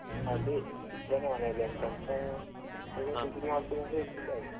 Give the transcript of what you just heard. ಅದೇ, ಇದ್ದಾನೆ ಮನೆಲ್ಲಿ ಎಂತಂತ ಎಂತದೋ degree ಮಾಡ್ತಿನಂತ ಹೇಳ್ತಿದ್ದ ಆಗ.